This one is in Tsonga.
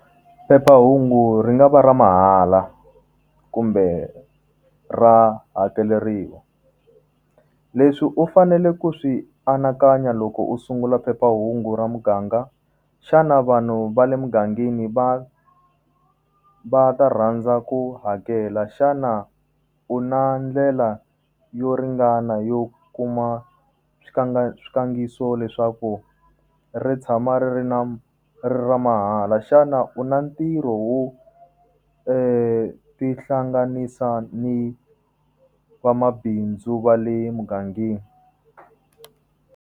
Phephahungu ri nga va ra mahala kumbe ra hakeleriwa. Leswi u fanele ku swi anakanya loko u sungula phephahungu ra muganga, xana vanhu va le mugangeni va va ta rhandza ku hakela? Xana u na ndlela yo ringana yo kuma swikandziyiso leswaku ri tshama ri ri ri ri ra mahala? Xana u na ntirho wu ti hlanganisa ni vamabindzu va le mugangeni?